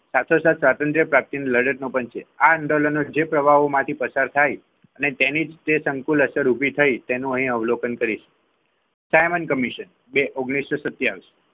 સાતસોસાત, શત્રુંજય પ્રાપ્તિની લડત નો પણ છે. આ આંદોલનના જે પ્રભાવમાંથી પ્રસાર થાય અને તેની તે સંકુલ અસર ઊભી થઈ તેનું અહીંયા અવલોકન કરીશ. સાયમન કમિશન બે ઓગણીસસો સત્યાવીસ.